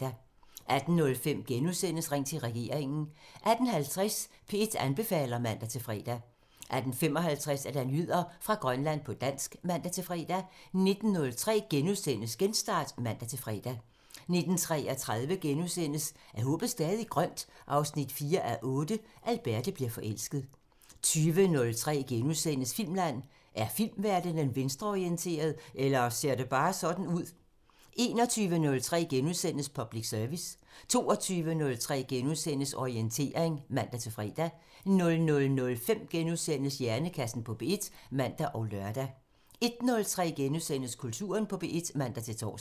18:05: Ring til regeringen * 18:50: P1 anbefaler (man-fre) 18:55: Nyheder fra Grønland på dansk (man-fre) 19:03: Genstart *(man-fre) 19:33: Er håbet stadig grønt? 4:8 – Alberte bliver forelsket * 20:03: Filmland: Er filmverdenen venstreorienteret – eller ser det bare sådan ud? * 21:03: Public Service * 22:03: Orientering *(man-fre) 00:05: Hjernekassen på P1 *(man og lør) 01:03: Kulturen på P1 *(man-tor)